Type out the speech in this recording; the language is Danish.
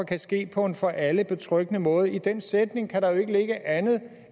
kan ske på en for alle betryggende måde i den sætning kan der jo ikke ligge andet